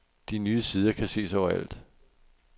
De nye tider kan ses over alt.